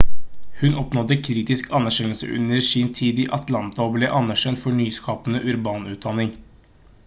hun oppnådde kritisk anerkjennelse under sin tid i atlanta og ble anerkjent for nyskapende urban utdanning